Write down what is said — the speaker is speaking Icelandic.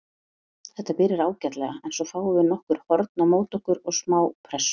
Þetta byrjar ágætlega en svo fáum við nokkur horn á móti okkur og smá pressu.